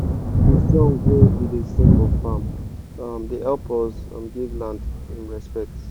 um d song wey we da sing for farm um da hep us um give land him respet